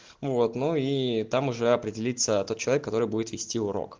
ну вот но и там уже определиться тот человек который будет вести урок